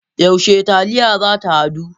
Yaushe taliya zata hadu?